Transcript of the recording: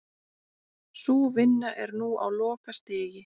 Sú vinna er nú á lokastigi